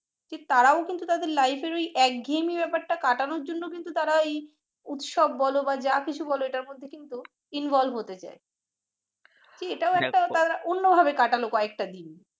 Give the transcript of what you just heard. তারাও কিন্তু তাদের লাইফের ওই এক ঘেয়েমি ব্যাপারটা কাটানোর জন্য কিন্তু তারাই উৎসব বলি যা কিছু বলো এইটার মধ্যে কিন্তু involve হতে চায় এটাও একটা তারা অন্য ভাবে কাটালো কয়েকটা দিন